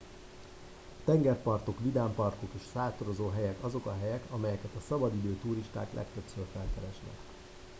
a tengerpartok vidámparkok és sátorozóhelyek azok a helyek amelyeket a szabadidő turisták legtöbbször felkeresnek